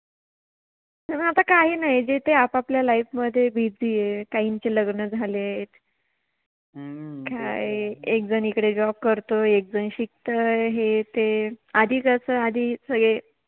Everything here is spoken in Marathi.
आता काही नाही, जे ते आपाआपल्या Life मधे Busy आहेत, काहिचे लग्न झालेत , काय एक जण इकडे Job करतो, एक जण शिकतय, हे ते, आधी कस, आधी सगळे